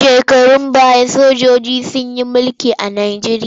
Shekarun baya sojiji sun yi mulki a Najeriya.